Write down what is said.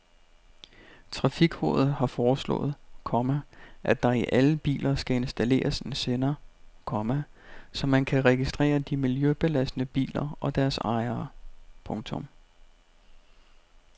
Trafikrådet har foreslået, komma at der i alle biler skal installeres en sender, komma så man kan registrere de miljøbelastende biler og deres ejere. punktum